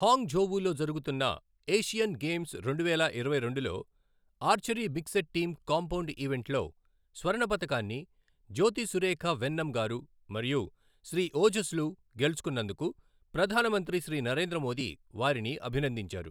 Hong ఝోవు లో జరుగుతున్న Asian games రెండువేల ఇరవై రెండులో archery mixed team compound ఈవెంట్లో స్వర్ణ పతకాన్ని జ్యోతి సురేఖ వెన్నమ్ గారు మరియు శ్రీ ఓజస్ లు గెలుచుకొన్నందుకు ప్రధాన మంత్రి శ్రీ నరేంద్ర మోదీ వారిని అభినందించారు.